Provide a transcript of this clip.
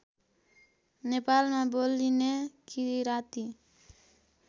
नेपालमा बोलिने किराँती